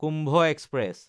Kumbh express